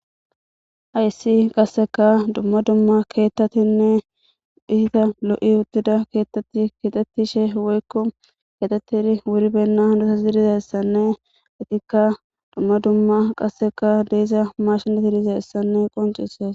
Hayssi qasseka dumma dumma keettatinne hiita lo'i uttida keettatti keexetishshe woykko kexettidi wuri benna hanidi dizayssanne ikka dumma dumma qasseka dee'iza mashineti deizayssanne qoncissees